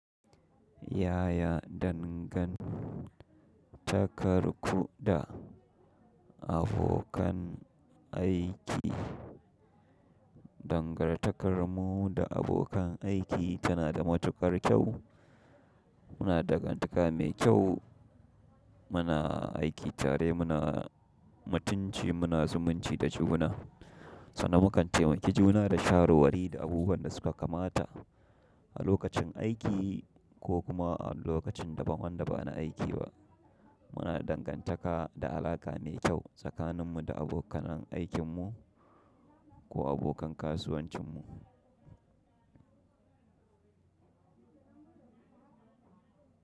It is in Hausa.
Yaya dangantakar ku da abokan aiki? Dangantakar mu da abokan aiki tana da matukar kyau. Muna da dangantaka mai kyau, muna aiki tare muna mutunci muna zumunci da juna, sannan mu kan temaki juna da shawarwari da abubuwan da suka kamata. A lokacin aiki ko kuma a lokacin daban wanda ba na aiki ba. Muna da dangantaka da alaƙa mai kyau tsakanin mu da abokanan aikin mu. Ko abokan kasuwancinmu.